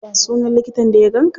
Ya sunan likitan da ya ganka?